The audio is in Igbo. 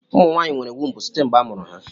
Ụmụ nwaanyị nwere wumbu site mgbe a mụrụ ha.